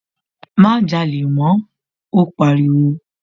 Má jalè mọ́, ó pariwo.